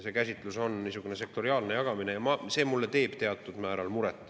See on niisugune sektoriaalne jagamine ja see teeb mulle teatud määral muret.